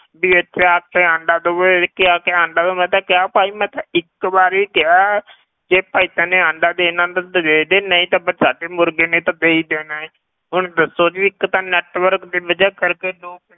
ਵੀ ਇੱਥੇ ਆ ਕੇ ਆਂਡਾ ਦਓ, ਇੱਥੇ ਆ ਕੇ ਆਂਡਾ ਦਓ ਮੈਂ ਤਾਂ ਕਿਹਾ ਭਾਈ ਮੈਂ ਤਾਂ ਇੱਕ ਵਾਰੀ ਕਿਹਾ ਵੀ ਭਾਈ ਤੂੰ ਆਂਡਾ ਦੇਣਾ ਤਾਂ ਦੇ ਦੇ ਨਹੀਂ ਤਾਂ ਫਿਰ ਸਾਡੀ ਮੁਰਗੀ ਨੇ ਤਾਂ ਦੇ ਹੀ ਦੇਣਾ ਹੈ, ਹੁਣ ਦੱਸੋ ਜੀ ਇੱਕ ਤਾਂ network ਦੀ ਵਜ੍ਹਾ ਕਰਕੇ ਲੋਕ